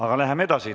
Aga läheme edasi.